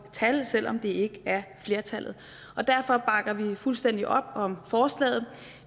tal selv om det ikke er flertallet og derfor bakker vi fuldstændig op om forslaget